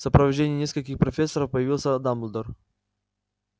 в сопровождении нескольких профессоров появился дамблдор